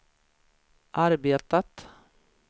arbetat